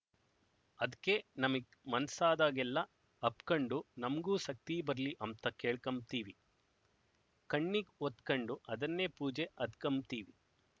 ಅದ್ಕೆ ನಮಿಗ್ ಮನ್ಸಾದಾಗೆಲ್ಲ ಅಪ್ಕಂಡು ನಮ್ಗೂ ಸಕ್ತಿ ಬರ್ಲಿ ಅಂಬ್ತ ಕೇಳ್ಕಂಬ್ತೀವಿ ಕಣ್ಣಿಗ್ ಒತ್ಕಂಡು ಅದನ್ನೇ ಪೂಜೆ ಅದ್ಕಂಬ್ತೀವಿ